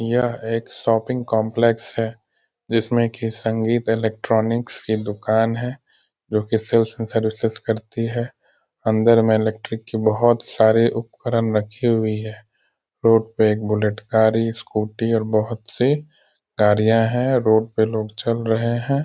यह एक shopping complex है | जिसमें के संगीत इलेक्ट्रॉनिक्स की दुकान है | जो कि सेल्स एंड सर्विसेस करती है | अंदर में इलेक्ट्रिक की बहोत सारी उपकरण रखी हुई है | रोड पे एक बुलेट गाड़ी स्कूटी और बहोत सी गाड़ियाँ हैं और रोड पे लोग चल रहे हैं |